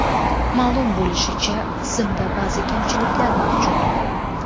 Ma’lum bo‘lishicha, tizimda ba’zi kamchiliklar mavjud.